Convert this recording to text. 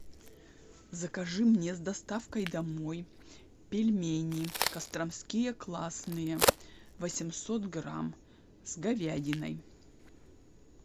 закажи мне с доставкой домой пельмени костромские классные восемьсот грамм с говядиной